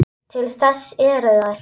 Til þess eru þær.